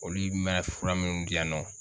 Olu mɛ fura minnu di yan nɔ.